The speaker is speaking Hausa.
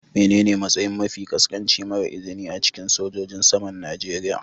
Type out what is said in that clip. Menene matsayi mafi ƙasƙanci mara izini a cikin sojojin saman Najeriya.?